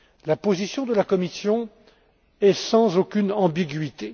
La position de la Commission est sans aucune ambiguïté.